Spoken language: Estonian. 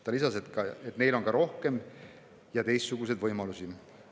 Ta lisas, et neil on ka rohkem ja teistsuguseid võimalusi.